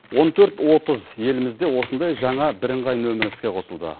он төрт отыз елімізде осындай жаңа бірыңғай нөмір іске қосылды